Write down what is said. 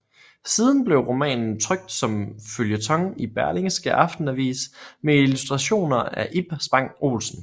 Siden blev romanen trykt som føljeton i Berlingske Aftenavis med illustrationer af Ib Spang Olsen